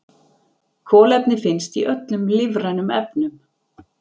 Kolefni finnst í öllum lífrænum efnum.